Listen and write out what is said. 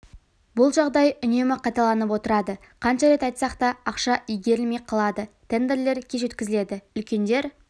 бұл жағдай үнемі қайталанып отырады қанша рет айтсақ да ақша игерілмей қалады тендерлер кеш өткізіледі үлкендер